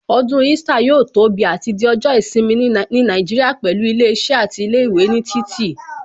Ọdún Easter yóò tóbi àti di ọjọ́ ìsinmi ní Nàìjíríà pẹ̀lú ilé iṣẹ́ àti ilé ìwé ní títì